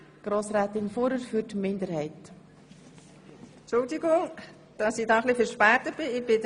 Hier steht ein Antrag der SiK-Mehrheit und der Regierung einem Antrag der SiK-Minderheit gegenüber.